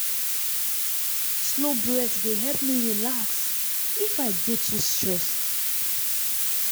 slow breath dey help me relax if i dey too stressed.